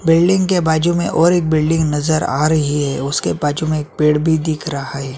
Building के बाजु में और एक बिल्डिंग नजर आ रही है उसके बाजु में एक पेड़ भी दिख रहा है।